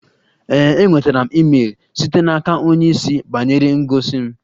Ee, enwetara m email site n'aka onye isi banyere ngosi m